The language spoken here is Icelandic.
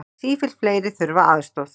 Sífellt fleiri þurfa aðstoð